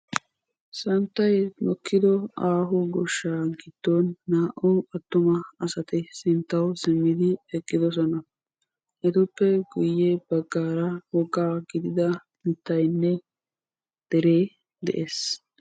Santtay mokkido aaho goshshaa giddon naa"u attuma asati sinttawu simmidi eqqidosona. Etuppe guyye baggaara woggaa gidida mittaynne deree de'ees.